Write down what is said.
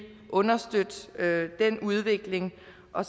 understøtte den udvikling og